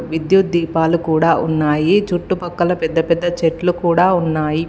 విద్యుత్ దీపాలు కూడా ఉన్నాయి. చుట్టుపక్కల పెద్ద పెద్ద చెట్లు కూడా ఉన్నాయి.